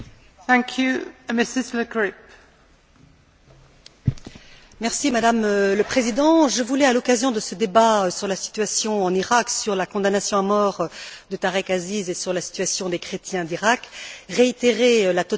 Madame le Président, je voulais, à l'occasion de ce débat sur la situation en Iraq, sur la condamnation à mort de Tarek Aziz et sur la situation des chrétiens d'Iraq, réitérer la totale opposition de mon groupe PPE à la peine de mort.